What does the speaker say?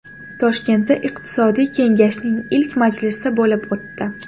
Toshkentda Iqtisodiy kengashning ilk majlisi bo‘lib o‘tdi.